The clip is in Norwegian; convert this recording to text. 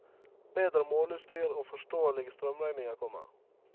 Bedre måleutstyr og forståelige strømregninger kommer.